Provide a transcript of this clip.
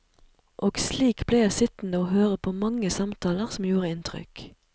Og slik ble jeg sittende høre på mange samtaler som gjorde inntrykk.